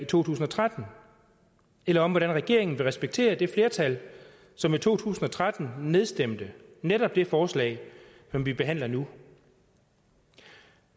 to tusind og tretten eller om hvordan regeringen vil respektere det flertal som i to tusind og tretten nedstemte netop det forslag som vi behandler nu